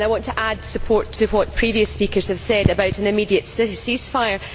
I want to add support to what previous speakers have said about an immediate cease fire.